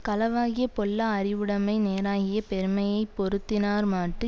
களவாகிய பொல்லா அறிவுடைமை நேராகிய பெருமையை பொருந்தினார்மாட்டு